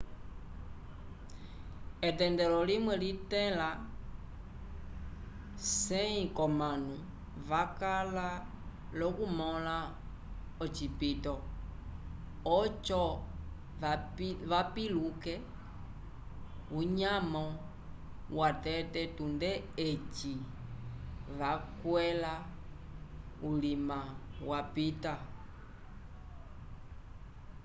etendelo limwe litẽla 100 k'omanu vakala l'okumõla ocipito oco vapiluke unyamo watete tunde eci vakwẽla ulima wapita